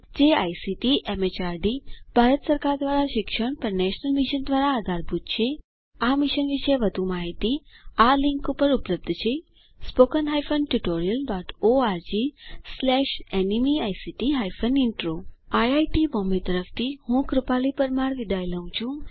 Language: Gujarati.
જે આઇસીટી એમએચઆરડી ભારત સરકાર દ્વારા શિક્ષણ પર નેશનલ મિશન દ્વારા આધારભૂત છે આ મિશન વિશે વધુ માહીતી આ લીંક ઉપર ઉપલબ્ધ છે160 spoken hyphen tutorial dot org slash NMEICT hyphen intro IIT Bombay તરફથી ભાષાંતર કરનાર હું કૃપાલી પરમાર વિદાય લઉં છું